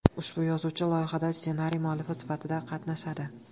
Ushbu yozuvchi loyihada ssenariy muallifi sifatida qatnashadi.